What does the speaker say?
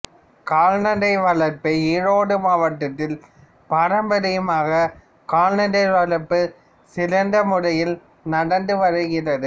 கால்நடை வளர்ப்பு ஈரோடு மாவட்டத்தில் பாரம்பரியமாகவே கால்நடை வளர்ப்பு சிறந்த முறையில் நடந்து வருகிறது